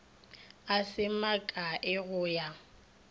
a se makae go ya